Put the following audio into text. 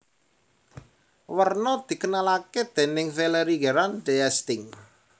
Werna dikenalake déning Valéry Gerard d Esting